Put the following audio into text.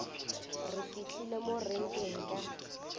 re fihlile mo renkeng ka